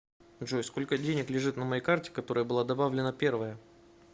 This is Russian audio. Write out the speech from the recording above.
джой сколько денег лежит на моей карте которая была добавлена первая